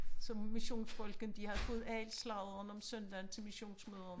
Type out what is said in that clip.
Så massionsfolken de havde fået alt sladderen om søndagen til missionsmøderne